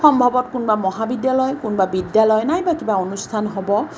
সম্ভৱত কোনবা মহাবিদ্যালয় কোনবা বিদ্যালয় নাইবা কিবা অনুষ্ঠান হ'ব।